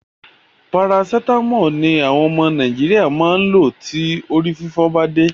Paracetamol ni àwọn ọmọ Nàìjíríà máa lò tí orí fífọ́ ba dé.